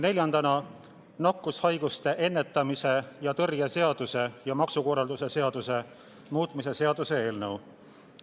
Neljandaks, nakkushaiguste ennetamise ja tõrje seaduse ja maksukorralduse seaduse muutmise seaduse eelnõu.